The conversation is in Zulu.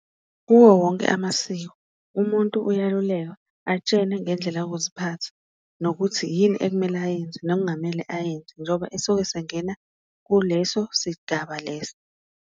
Kuwo wonke amasiko umuntu uyalulekwa, atshene ngendlela yokuziphatha, nokuthi yini ekumele ayenze nokungamele ayenze njoba esuke esengena kuleso sigaba leso.